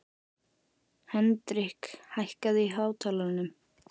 Hendrik, hækkaðu í hátalaranum.